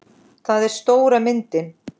Það er stóra myndin.